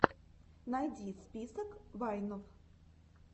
найди список вайнов